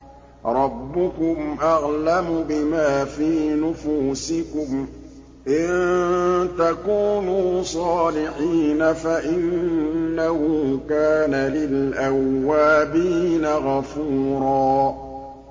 رَّبُّكُمْ أَعْلَمُ بِمَا فِي نُفُوسِكُمْ ۚ إِن تَكُونُوا صَالِحِينَ فَإِنَّهُ كَانَ لِلْأَوَّابِينَ غَفُورًا